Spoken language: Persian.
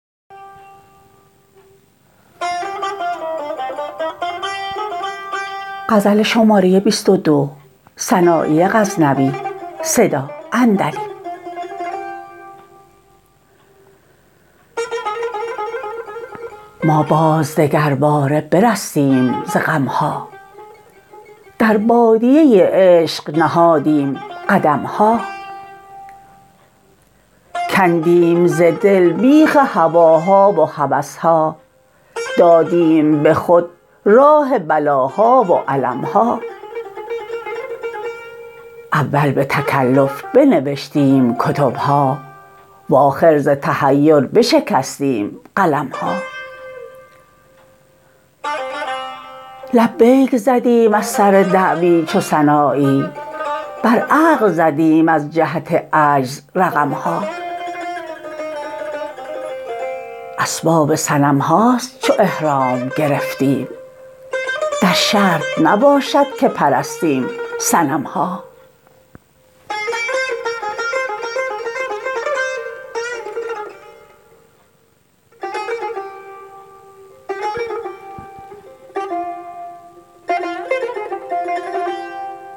ما باز دگرباره برستیم ز غم ها در بادیه عشق نهادیم قدم ها کندیم ز دل بیخ هواها و هوس ها دادیم به خود راه بلاها و الم ها اول به تکلف بنوشتیم کتب ها و آخر ز تحیر بشکستیم قلم ها لبیک زدیم از سر دعوی چو سنایی بر عقل زدیم از جهت عجز رقم ها اسباب صنم هاست چو احرام گرفتیم در شرط نباشد که پرستیم صنم ها